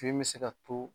Fini bɛ se ka to